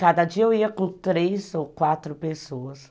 Cada dia eu ia com três ou quatro pessoas.